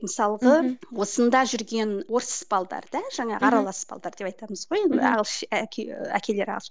мысалғы осында жүрген орыс балдар да жаңағы аралас балдар деп айтамыз ғой енді әке әкелері ағылшын